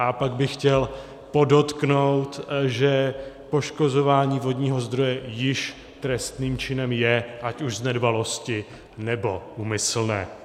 A pak bych chtěl podotknout, že poškozování vodního zdroje již trestným činem je, ať už z nedbalosti, nebo úmyslně.